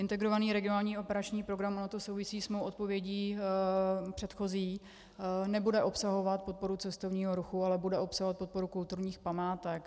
Integrovaný regionální operační program, ono to souvisí s mou odpovědí předchozí, nebude obsahovat podporu cestovního ruchu, ale bude obsahovat podporu kulturních památek.